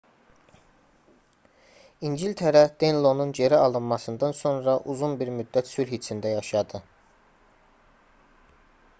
i̇ngiltərə denlonun geri alınmasından sonra uzun bir müddət sülh içində yaşadı